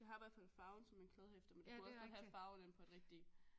Det har i hvert fald farven som et kladdehæfte men det kunne også godt have farven inde på et rigtigt